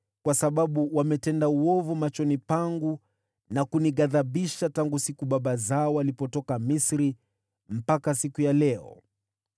kwa sababu wametenda uovu machoni pangu na kunighadhibisha tangu siku baba zao walipotoka Misri mpaka siku ya leo.”